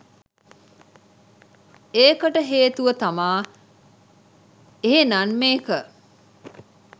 ඒකට හේතුව තමා එහෙනන් මේක